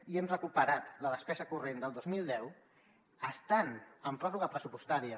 i hem recuperat la despesa corrent del dos mil deu estant en pròrroga pressupostària